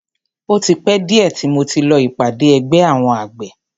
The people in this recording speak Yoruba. O ti pẹ́ díẹ̀ tí mo ti lọ ìpàdé ẹgbẹ́ àwọn àgbẹ̀.